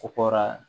Ko kora